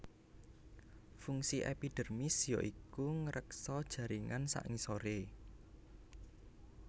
Fungsi epidermis ya iku ngreksa jaringan sangisoré